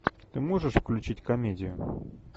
ты можешь включить комедию